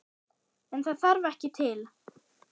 En það þarf ekki til.